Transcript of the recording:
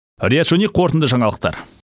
риат шони қорытынды жаңалықтар